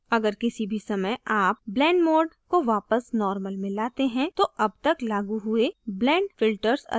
अगर किसी भी समय आप blend mode को वापस normal में लाते है तो अब तक लागू हुए blend filters अदृश्य हो जाते हैं